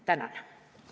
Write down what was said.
Tänan!